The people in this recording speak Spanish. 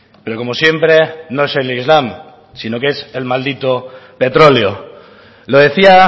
pero como siempre no es el islam sino que es el maldito petróleo lo decía